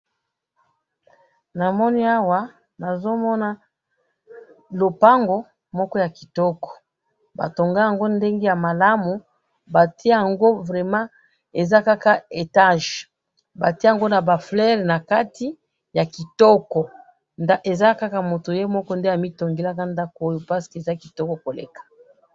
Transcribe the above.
namoni awa nazomona lupango moko ya kitoko batonga yango ndenge ya malamu batia yango vraiment eza kaka etages batia yango ba fleurs nakati ya kitoko eza kaka mutu yemoko amitongelaka ndaku oyo po eza kitoko koleka